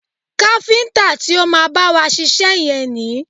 Káfíntà ti o má bá wa ṣiṣẹ́ yẹn ni.